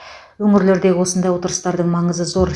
өңірлердегі осындай отырыстардың маңызы зор